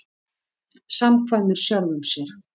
Samkvæmur sjálfum sér.